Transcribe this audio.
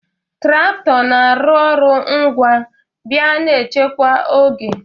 Trakto na-arụ ọrụ ngwa bịa na echekwa oge